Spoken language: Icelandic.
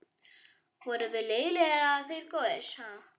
Vorum við lélegir eða þeir góðir?